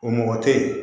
O mɔgɔ te yen